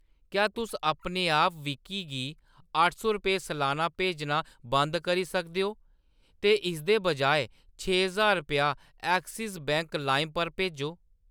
क्या तुस अपने आप विकी गी अट्ठ सौ रपेऽ सलाना भेजना बंद करी सकदे ओ ? ते इसदे बजाय छे ज्हार रपेआ एक्सिस बैंक लाइम पर भेजो ।